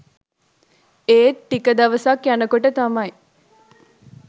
ඒත් ටික දවසක් යනකොට තමයි